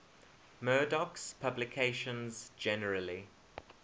murdoch's publications generally